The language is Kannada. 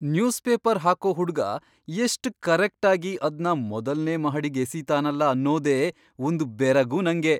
ನ್ಯೂಸ್ಪೇಪರ್ ಹಾಕೋ ಹುಡ್ಗ ಎಷ್ಟ್ ಕರೆಕ್ಟಾಗಿ ಅದ್ನ ಮೊದಲ್ನೇ ಮಹಡಿಗ್ ಎಸಿತಾನಲ ಅನ್ನೋದೇ ಒಂದ್ ಬೆರಗು ನಂಗೆ.